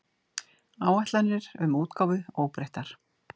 Áætlanir um útgáfu óbreyttar